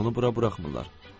Onu bura buraxmırlar.